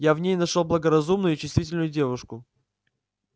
я в ней нашёл благоразумную и чувствительную девушку